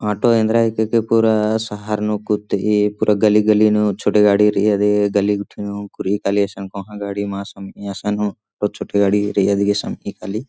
आटो एंदरा हैके कि पूरा शहर नू कुतही पूरा गली गली नू छोटे गाड़ी रइई एद गली गूट्ठी नू कुरही काले उसन कोंहां गाड़ी मां समया एसन हूं और छोटे गाड़ी रःइई एदीगी एसन ही काली---